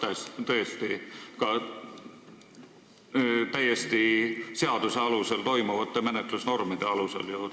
Need võivad ju tõesti toimuda täiesti seaduse alusel ette nähtud menetlusnormide alusel.